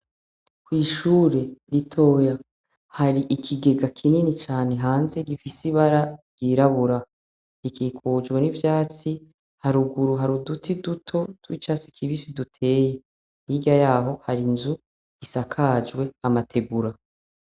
Kw'ishure ritoya hari ikigega kinini cane hanze gifise ibara ryirabura rikikujwe n'ivyatsi haruguru haruduti duto tw’icatsi kibisi duteye hirya yaho hari inzu isakajwe amategura.